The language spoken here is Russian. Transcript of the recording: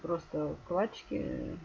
просто вкладчики